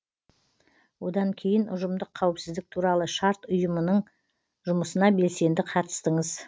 одан кейін ұжымдық қауыпсіздік туралы шарт ұйымының жұмысына белсенді қатыстыңыз